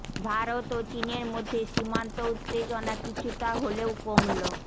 ভারত ও চিনের মধ্যে সীমান্ত উত্তেজনা কিছুটা হলেও কমল